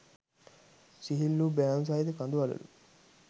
සිහිල් වූ බෑවුම් සහිත කඳු වළලු